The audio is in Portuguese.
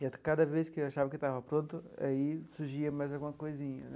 E cada vez que eu achava que estava pronto, aí surgia mais alguma coisinha né.